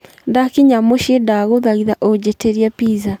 ndakinyĩra mũciĩ ndagũthaitha ujĩtĩrĩe pizza